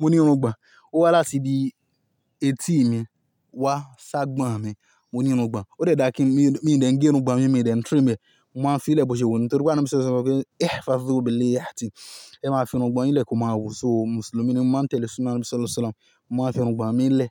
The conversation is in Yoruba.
Mo ní irun gbọ̀n. Ó wá láti ibi etí mi wá ṣ'agbọ̀n mi. Mo ní irun gbọ̀n. Ó dẹ dà kí n, mi dẹ̀ ń gé irun gbọ̀n mi, mi dẹ̀ ń trim e. Mo máa ń fi ilẹ̀ bọ́ ṣe wọ́n nítorí pé àná mi sọ sọ pé, "Ẹ̀h, fa sọ́ọ̀bù lè yà tí ẹ máa fi irun gbọ̀n ilẹ̀ kan máa wò." So Mùsùlùmí ni wọ́n máa ń tẹ̀lé súnná Nabi Sallallahu Alaihi Wasallam. Wọ́n máa ń fi irun gbọ̀n mí ilẹ̀.